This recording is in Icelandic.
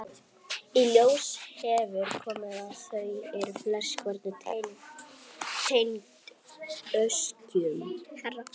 Í ljós hefur komið að þau eru flest hver tengd öskjum.